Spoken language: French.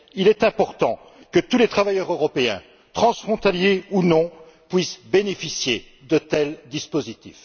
Il importe que tous les travailleurs européens, transfrontaliers ou non, puissent bénéficier de tels dispositifs.